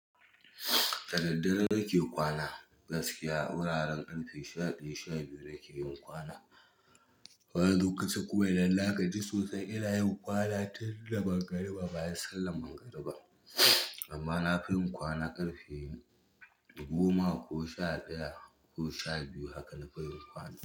Da daddare nake kwana, gaskiya wuraren ƙarfe sha biyu, sha biyu nake yin kwana. Wani lokacin kuma idan na gaji sosai ina yin kwana tun da mangariba, bayan sallar mangariba. Amma nagi yun kwana ƙarfe goma ko sha ɗaya ko sha biyu.